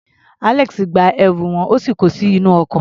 Alex gba ẹrù wọn, ó sì ko sínú ọkọ̀.